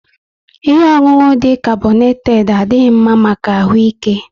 Ihe ọṅụṅụ dị carbonated adighi mma maka ahụ ike